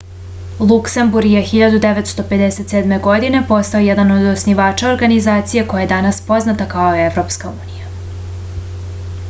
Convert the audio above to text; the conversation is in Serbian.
luksemburg je 1957. godine postao jedan od osnivača organizacije koja je danas poznata kao evropska unija